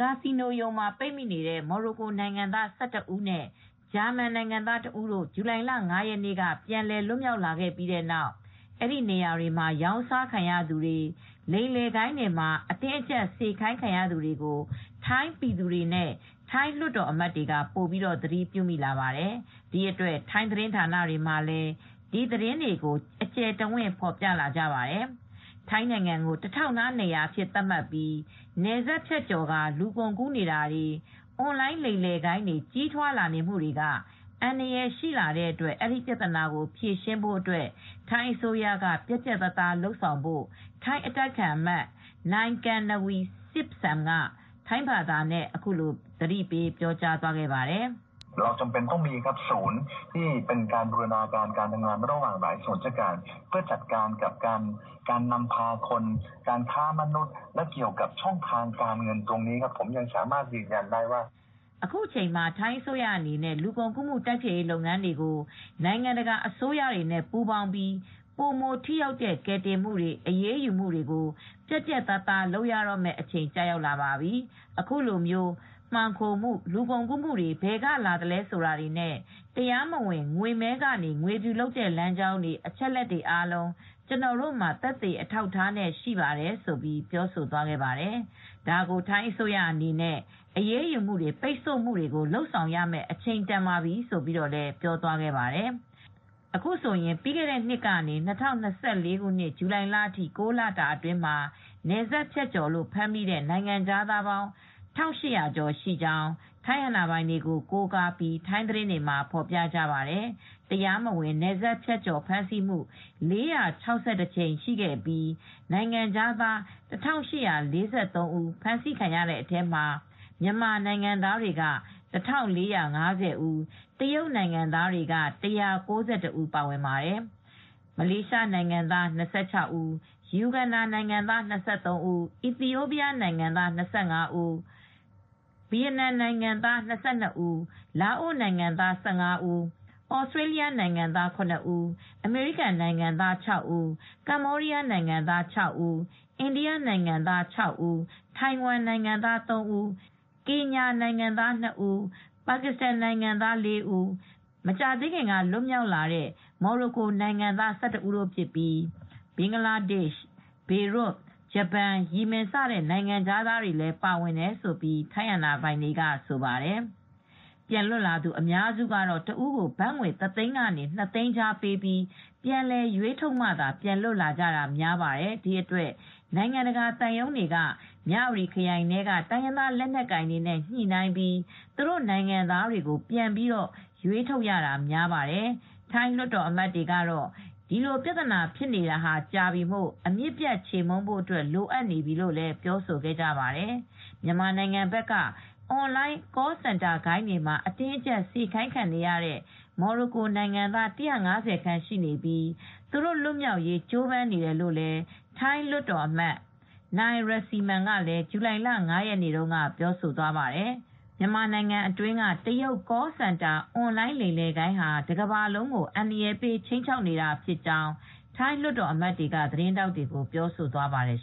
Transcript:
ကာစီနိုရုံမှာပိတ်မိနေတဲ့ မော်ရိုကိုနိုင်ငံသား ၁၁ ဦးနဲ့ ဂျာမန်နိုင်ငံသား ၁ ဦးတို့ ဇူလိုင်လ ၅ ရက်နေ့က ပြန်လည်လွတ်မြောက်လာပြီးတဲ့နောက် အဲဒီနေရာတွေမှာရောင်းစားခံရသူတွေ၊ လိမ်လည်ဂိုဏ်းတွေမှာ အတင်းအကြပ်စေခိုင်းခံရသူတွေကို ထိုင်းပြည်သူတွေနဲ့ ထိုင်းလွှတ်တော်အမတ်တွေက ပိုပြီးသတိပြုမိလာပါတယ်။ ဒီအတွက် ထိုင်းသတင်းဌာနတွေမှာလည်း ဒီသတင်းတွေကို အကျယ်တဝင့် ဖော်ပြလာကြပါတယ်။ ထိုင်းနိုင်ငံကို တထောက်နားနေရာအဖြစ်ထားပြီး နယ်စပ်ဖြတ်ကျော်ကာ လူကုန်ကူးနေတာတွေ၊ အွန်လိုင်းလိမ်လည်ဂိုဏ်းတွေ ကြီးထွားလာနေတာတွေက အန္တရာယ်ရှိလာတဲ့အတွက် အဲဒီပြဿနာကို ဖြေရှင်းဖို့ ထိုင်းအစိုးရက ပြတ်ပြတ်သားသားလုပ်ဖို့ ထိုင်းအတိုက်အခံအမတ် နိုင်ကမ်နဝီဆစ်စမ်းက ထိုင်းဘာသာနဲ့ အခုလိုသတိပေးပြောကြားပါတယ်။ "အခုချိန်မှာ ထိုင်းအစိုးရအနေနဲ့ လူကုန်ကူးမှု တိုက်ဖျက်ရေးလုပ်ငန်းတွေကို နိုင်ငံတကာ အစိုးရတွေနဲ့ပူးပေါင်းပြီး ပိုမိုထိရောက်တဲ့ကယ်တင်မှု၊ အရေးယူမှုတွေကို ပြတ်ပြတ်သားသား လုပ်ရတော့မယ့်အချိန်ရောက်ပါပြီ၊ အခုလို လူကုန်ကူးမှုတွေ ဘယ်ကလာတယ်ဆိုတာတွေနဲ့ တရားမဝင် ငွေမည်းခဝါချတဲ့လမ်းကြောင်းတွေ၊ အချက်အလက်အားလုံး ကျနော်တို့ မှာသက်သေအထောက်အထားနဲ့တကွ ရှိနေပါတယ်။" ဒါကို ထိုင်းအစိုးရအနေနဲ့ အရေးယူမှု တွေပိတ်ဆို့မှုတွေကို လုပ်ဆောင်ရမယ်အချိန်တန်ပါပြီလို့ပြောသွားခဲ့ပါတယ် ။ အခုဆိုရင် ပြီးခဲ့တဲ့ နှစ်ကနေ ၂၀၂၄ဇူလိုင်လအထိ ၉လတာအတွင်းမှာ နယ်စပ်ဖြတ်ကျော်လို့ဖမ်းမိတဲ့နိုင်ငံခြားသား ၁၈၀၀ကျော်ရှိကြောင်း ထိုင်းအာဏာပိုင်တွေကိုကိုးကားပြီးထိုင်းသတင်းတွေမှာဖော်ပြကြပါတယ်။ တရားမဝင် နယ်စပ်ဖြတ်ကျော်ဖမ်းဆီးမှု ၄၆၁ မှုရှိပြီး နိုင်ငံခြားသား ၁,၈၄၃ ဦး ဖမ်းဆီးရတဲ့ထဲမှာ မြန်မာနိုင်ငံသားက ၁,၄၅၀ ဦး၊ တရုတ်နိုင်ငံသား ၁၉၁ ဦးပါဝင်ပါတယ် ။ မလေးရှား နိုင်ငံသား ၂၆ ဦး၊ ယူဂန္ဓာ နိုင်ငံသား၂၃ ဦး၊ အီသီယိုပီးယား နိုင်ငံသား၂၅ ဦး၊ ဗီယက်နမ်နိုင်ငံသား ၂၂ ဦး၊ လာအိုနိုင်ငံသား ၁၅ ဦး၊ ဩစတြေးလျနိုင်ငံသား ၇ ဦး၊ အမေရိကန်နိုင်ငံသား ၆ ဦး၊ ကမ္ဘောဒီးယားနိုင်ငံသား ၆ ဦး၊ အိန္ဒိယနိုင်ငံသား ၆ ဦး၊ ထိုင်ဝမ်နိုင်ငံသား ၃ ဦး၊ ကင်ညာနိုင်ငံသား ၂ ဦး၊ ပါကစ္စတန်နိုင်ငံသား ၄ ဦး၊ မကြာသေးခင်ကလွတ်မြောက်လာတဲ့မော်ရိုကိုနိုင်ငံသား ၁၁ ဦးတို့ဖြစ်ပြီး ဘင်္ဂလားဒေ့ရှ်၊ ဘေရွတ်၊ ဂျပန်၊ ယီမင် စတဲ့ နိုင်ငံသားတွေလည်း ပါဝင်တယ်လို့ လည်းထိုင်းအာဏာပိုင်တွေကဆိုပါတယ် ။ ပြန်လွတ်လာသူအများစုကတော့ တဦးကိုဘတ်ငွေတသိန်းကနေ နှစ်သိန်းကြားပေးပြီး ပြန်လည်ရွေးထုတ်မှသာ ပြန်လွတ်ကြတာများပါတယ်။ ဒီအတွက် နိုင်ငံတကာသံရုံးတွေက မြဝတီခရိုင်ထဲက တိုင်းရင်းသားလက်နက်ကိုင်တွေနဲ့ညှိနှိုင်းပြီး သူတို့ နိုင်ငံသားတွေကို ပြန်ပြီးရွေးထုတ်ရတာများပါတယ်။ ထိုင်းလွှတ်တော်အမတ်တွေကတော့ ဒီပြဿနာဖြစ်နေတာကြာပြီမို့ အမြစ်ပြတ်ချေမှုန်းဖို့ အတွက်လိုအပ်နေပြီလို့လည်းပြောဆိုကြပါတယ်။ မြန်မာနိုင်ငံဘက်က အွန်လိုင်း Call center ဂိုဏ်းမှာ အတင်းအကြပ်စေခိုင်းခံနေရတဲ့ မော်ရိုကို နိုင်ငံသား ၁၅၀ ခန့်ရှိနေပြီး သူတို့လွတ်မြောက်ရေးကြိုးပမ်းနေတယ်လို့လည်း ထိုင်းလွှတ်တော်အမတ် နိုင် ရစီမန် (Mr Rangsiman Rome) ကလည်းဇူလိုင်လ ၅ ရက်နေ့တုန်းကပြောသွားပါတယ်။ မြန်မာနိုင်ငံအတွင်းကတရုတ် Call Center အွန်လိုင်းလိမ်လည်ဂိုဏ်းဟာ တကမ္ဘာလုံးကိုအန္တရယ်ပေး ခြိမ်းခြောက်နေတာဖြစ်ကြောင်းထိုင်းလွတ်တော်အမတ်တွေက သတင်းထောက်တွေကို ပြောသွားပါတယ်